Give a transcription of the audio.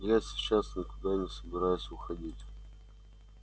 я сейчас никуда не собираюсь уходить